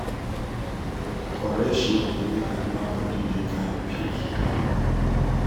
correct shade da make animal body da kampe